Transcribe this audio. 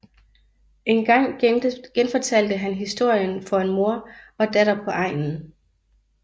En gang genfortalte han historien for en mor og datter på egnen